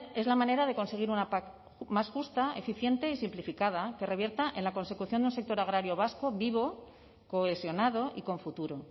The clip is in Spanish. es la manera de conseguir una pac más justa eficiente y simplificada que revierta en la consecución de un sector agrario vasco vivo cohesionado y con futuro